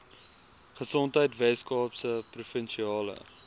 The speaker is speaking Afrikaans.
gesondheid weskaapse provinsiale